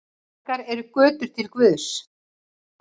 Margar eru götur til guðs.